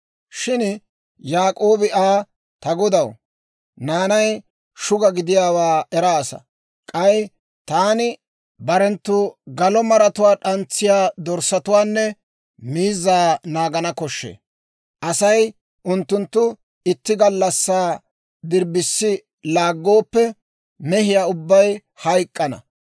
Shin Yaak'oobi Aa, «Ta godaw, naanay shuga gidiyaawaa eraasa; k'ay taani barenttu galo maratuwaa d'antsiyaa dorssatuwaanne miizzaa naagana koshshee; Asay unttunttu itti gallassaa dirbbissi laaggooppe, mehiyaa ubbay hayk'k'ana.